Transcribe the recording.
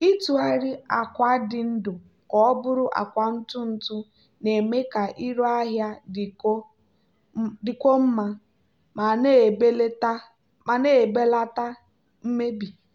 ịtụgharị akwa dị ndụ ka ọ bụrụ akwa ntụ ntụ na-eme ka iru ahịa dịkwuo mma ma na-ebelata mmebi.